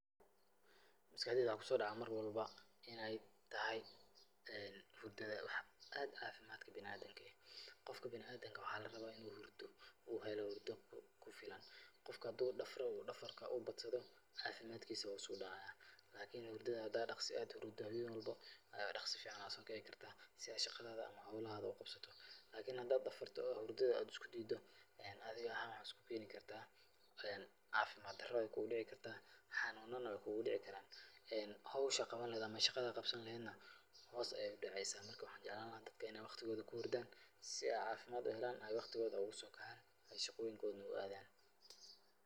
Maskaxdeyda waxa kusodaca mar walbo ineey tahay een hurdada wax aad cafimadka biliadamka eh. qofka biliadamka waxa larawa inu hurdo uu heelo hurdo kufilan . Qofka hadu dafro uu dafarka ubadsado cafimadkisa hoos udacayaa lakini hurdadha hada daqso hurudo hawen walbo , daqso fican aya sokici karta si shaqadadha mise howlahaga uqabsato lakin hada dafarto oo hurdadha isku dido adhi ahaan wax iskukeni karta cafimad darowey kudici karta xanunan wey kugudici karaan ,hoosha qawani lehed nah ama shaqada qabsani lehed nah hoos ayey udeceysa. Marka waxan jeclani lahaa dadka ineey waqtigoda kuhurdaan si eey cafimaad uhelaan eey waqtigoda oguso kacaan eey shaqoyinkoda nah uadhaan.